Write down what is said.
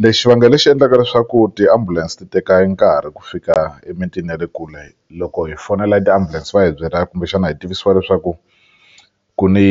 Lexi vangele lexi endlaka leswaku tiambulense ti teka e nkarhi ku fika emitini ya le kule loko hi fonela tiambulense va hi byelaka kumbexana hi tivisiwa leswaku ku ni